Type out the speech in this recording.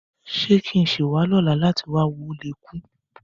Ṣé kí n sì wá lọ́la láti wá wo Ó le Kú?